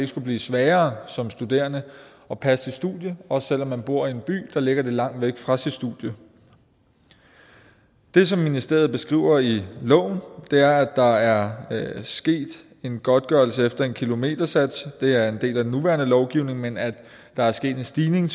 skulle blive sværere som studerende at passe sit studie også selv om man bor i en by der ligger lidt langt væk fra studiet det som ministeriet beskriver i loven er at der er sket en godtgørelse efter en kilometersats det er en del af den nuværende lovgivning men at der er sket en stigning